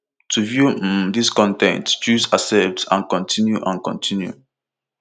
to view um dis con ten t choose accept and continue and continue